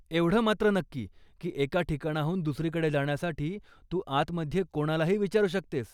एवढं मात्र नक्की की एका ठिकाणाहून दुसरीकडे जाण्यासाठी तू आतमध्ये कोणालाही विचारू शकतेस.